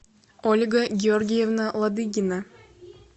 ольга георгиевна ладыгина